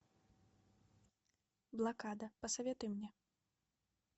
блокада посоветуй мне